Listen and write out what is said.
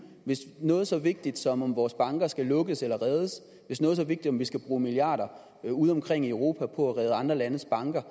hvis noget så vigtigt som om vores banker skal lukkes eller reddes hvis noget så vigtigt som om vi skal bruge milliarder udeomkring i europa på at redde andre landes banker